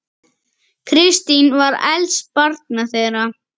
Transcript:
Kristín var elst barna þeirra.